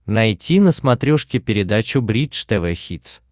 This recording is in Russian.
найти на смотрешке передачу бридж тв хитс